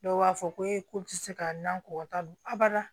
Dɔw b'a fɔ ko e ko tɛ se ka n na ko ka taa don a bada